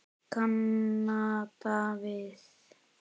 Kanada við.